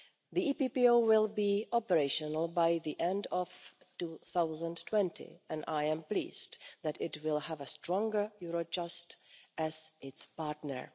The EPPO will be operational by the end of 2020 and I am pleased that it will have a stronger Eurojust as its partner.